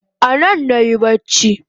Anan nayi bacci